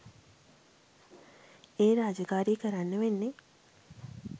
ඒ රාජකාරිය කරන්න වෙන්නේ